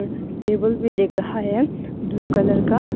Table भी दिख रहा है ब्लू कलर का।